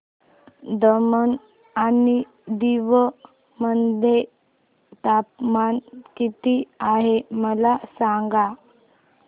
दमण आणि दीव मध्ये तापमान किती आहे मला सांगा